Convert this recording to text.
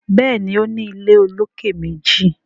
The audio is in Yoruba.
Béèni o ní ilé olokè méjì.